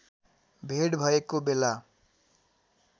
भेट भएको बेला